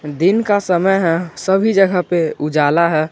दिन का समय है सभी जगह पे उजाला है।